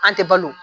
An tɛ balo